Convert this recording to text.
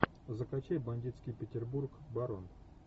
закачай бандитский петербург барон